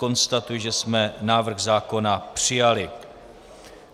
Konstatuji, že jsme návrh zákona přijali.